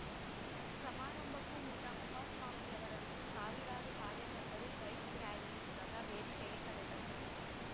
ಸಮಾರಂಭಕ್ಕೂ ಮುನ್ನ ಕುಮಾರ ಸ್ವಾಮಿಯವರನ್ನು ಸಾವಿರಾರು ಕಾರ್ಯಕರ್ತರು ಬೈಕ್‌ ರ್‍ಯಾಲಿ ಮೂಲಕ ವೇದಿಕೆಗೆ ಕರೆ ತಂದರು